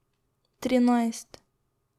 Trinajst.